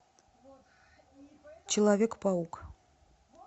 человек паук